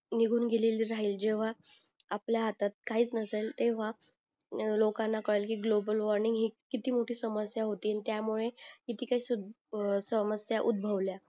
निघून गेलेली राहील जेव्हा आपल्या हातात काहीच नसेल तेव्हा लोकांना कळेल कि ग्लोबल वॉर्मिंग हि किती मोठी समस्या होती आणि त्यामुळे समस्या उध्दभवल्या